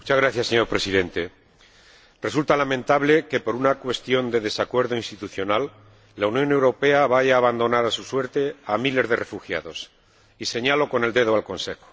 Señor Presidente, resulta lamentable que por una cuestión de desacuerdo institucional la Unión Europea vaya a abandonar a su suerte a miles de refugiados, y señalo con el dedo al Consejo.